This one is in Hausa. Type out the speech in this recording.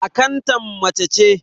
Akantan mace ce.